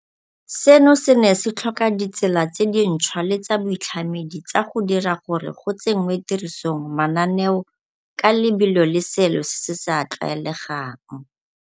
Seno se ne se tlhoka ditsela tse dintšhwa le tsa boitlhamedi tsa go dira gore go tsenngwe tirisong mananeo ka lebelo le seelo se se sa tlwaelegang.